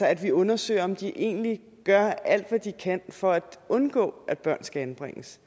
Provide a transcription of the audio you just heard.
at vi undersøger om de egentlig gør alt hvad de kan for at undgå at børn skal anbringes